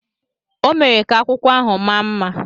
ọ mere ka akwụkwọ ahụ maa mma